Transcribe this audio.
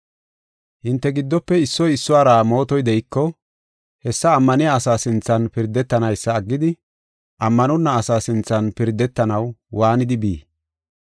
Hinte giddofe issoy issuwara mootoy de7iko, hessa ammaniya asaa sinthan pirdetanaysa aggidi, ammanonna asa sinthan pirdetanaw waanidi bii?